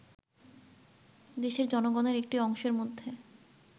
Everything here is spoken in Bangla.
দেশের জনগণের একটি অংশের মধ্যে